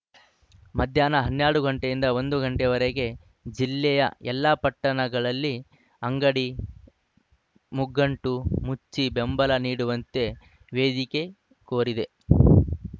ಮಧ್ಯಾಹ್ನ ಹನ್ನೆರಡು ಗಂಟೆಯಿಂದ ಒಂದು ಗಂಟೆ ವರೆಗೆ ಜಿಲ್ಲೆಯ ಎಲ್ಲಾ ಪಟ್ಟಣಗಳಲ್ಲಿ ಅಂಗಡಿ ಮುಂಗಟ್ಟು ಮುಚ್ಚಿ ಬೆಂಬಲ ನೀಡುವಂತೆ ವೇದಿಕೆ ಕೋರಿದೆ